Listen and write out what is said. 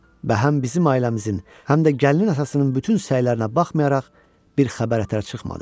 Bəhəm bizim ailəmizin, həm də gəlinin atasının bütün səylərinə baxmayaraq bir xəbər ətrə çıxmadı.